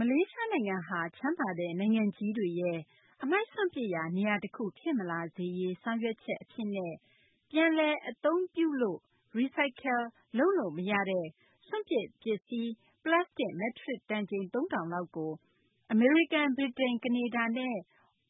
မလေးရှားနိုင်ငံဟာ ချမ်းသာတဲ့ နိုင်ငံကြီးတွေရဲ့ အမှိုက်စွန့်ပစ်ရာ နေရာတခု ဖြစ်မလာစေရေး ဆောင်ရွက်ချက် အဖြစ်နဲ့ ပြန်လည်အသုံးပြုလို့ - Recyclable လုပ်လို့ မရတဲ့ စွန့်ပစ် ပလတ်စတစ် မက်ထရစ် တန်ချိန် ၃ ထောင်လောက်ကို အမေရိကန်၊ ဗြိတိန်၊ ကနေဒါနဲ့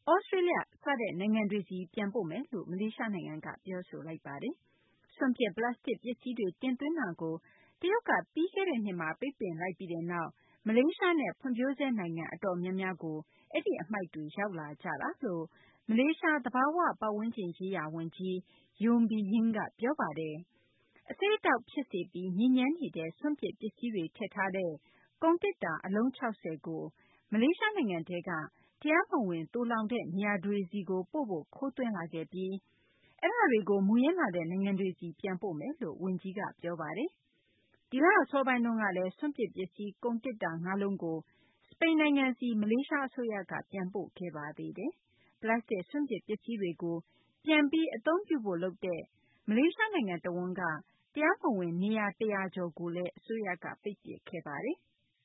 သြစတြေးလျ စတဲ့ နိုင်ငံတွေဆီ ပြန်ပို့မယ်လို့ မလေးရှားနိုင်ငံက ပြောဆိုလိုက်ပါတယ်။ စွန့်ပစ် ပလတ်စတစ်ပစ္စည်းတွေ တင်သွင်းတာကို တရုတ်က ပြီးခဲ့တဲ့နှစ်မှာ ပိတ်ပင်လိုက်ပြီးတဲ့နောက် မလေးရှားနဲ့ ဖွံ့ဖြိုးဆဲနိုင်ငံ အတော်များများကို အဲဒီအမှိုက်တွေ ရောက်လာကြတယ်လို့ မလေးရှား သဘာဝပတ်ဝန်းကျင်ရေးရာဝန်ကြီး Yeo Bee Yin က ပြောပါတယ်။ အဆိပ်အတောက်ဖြစ်စေပြီး ညစ်ညမ်းနေတဲ့ စွန့်ပစ်ပစ္စည်းတွေထည့်ထားတဲ့ ကုန်သေတ္တာ အလုံး ၆၀ ကို မလေးရှားနိုင်ငံထဲက တရားမဝင် သိုလှောင်တဲ့နေရာတွေဆီကိုပို့ဖို့ ခိုးသွင်းလာခဲ့ပြီး အဲဒါတွေကို မူရင်းလာတဲ့နိုင်ငံတွေဆီ ပြန်ပို့မယ်လို့ ဝန်ကြီး Yeo Bee Yin ကပြောပါတယ်။ ဒီလအစောပိုင်းတုန်းကလည်း စွန့်ပစ်ပစ္စည်း ကုန်သေတ္တာ ငါးလုံးကို စပိန်နိုင်ငံဆီ မလေးရှားအစိုးရက ပြန်ပို့ခဲ့ပါသေးတယ်။ ပလတ်စတစ် စွန့်ပစ်ပစ္စည်းတွေကို ပြန်ပြီးအသုံးပြုဖို့လုပ်တဲ့ မလေးရှားနိုင်ငံတဝန်းက တရားမဝင်နေရာ ၁၀၀ ကျော်ကို အစိုးရက ပိတ်ပစ်ခဲ့ပါတယ်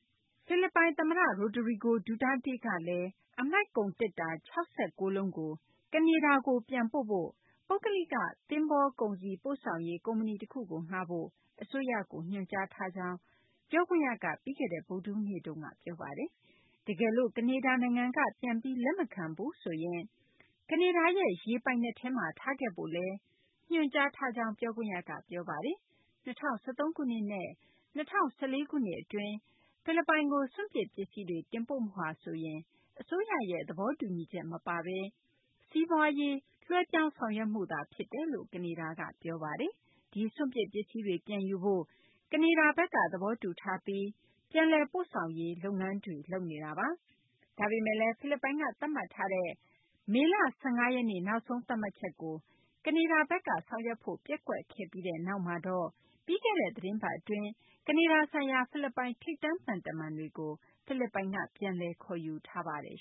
။ တချိန်တည်းမှာဘဲ ဖိလစ်ပိုင် သမ္မတ Rodrigo Duterte ကလည်း အမှိုက် ကုန်သေတ္တာ ၆၉ လုံးကို ကနေဒါကို ပြန်ပို့ဖို့ ပုဂ္ဂလိက သဘောၤကုန်စည်ပို့ဆောင်ရေး ကုမ္ပဏီ တခုကို ငှားဖို့ အစိုးရကို ညွှန်ကြားထားကြောင်း ပြောခွင့်ရက ပြီးခဲ့တဲ့ ဗုဒ္ဓဟူးနေ့မှာ ပြောပါတယ်။ တကယ်လို့ ကနေဒါ နိုင်ငံက ပြန်ပြီး လက်မခံဘူးဆိုရင် ကနေဒါရဲ့ ရေပိုင်နက်ထဲမှာ ထားခဲ့ဖို့လည်း ညွှန်ကြားထားကြောင်း ပြောခွင့်ရက ပြောပါတယ်။ ၂၀၁၃ ခုနှစ်နဲ့ ၂၀၁၄ ခုနှစ် အတွင်း ဖိလစ်ပိုင်ကို စွန့်ပစ် ပစ္စည်းတွေ တင်ပို့မှုဟာဆိုရင် အစိုးရရဲ့ သဘောတူညီချက် မပါဘဲ စီးပွားရေး လွှဲပြောင်း ဆောင်ရွက်မှု ဖြစ်တယ်လို့ ကနေဒါက ပြောပါတယ်။ ဒီစွန့်ပစ် ပစ္စည်းတွေ ပြန်ယူဖို့ ကနေဒါဘက်က သဘောတူထားပြီး ပြန်လည်ပို့ဆောင်ရေး လုပ်နေတာပါ။ ဒါပေမယ့်လည်း ဖိလစ်ပိုင်က သတ်မှတ်ထားတဲ့ မေလ ၁၅ ရက် နောက်ဆုံးသတ်မှတ်ချက်ကို ကနေဒါဘက်က ဆောင်ရွက်ဖို့ ပျက်ကွက်ခဲ့ပြီး နောက်မှာတော့ ပြီးခဲ့တဲ့ သီတင်းပတ်မှာ ကနေဒါဆိုင်ရာ ဖိလစ်ပိုင် ထိပ်တန်းသံတမန်တွေကို ဖိလစ်ပိုင်က ပြန်လည် ခေါ်ယူထားပါတယ်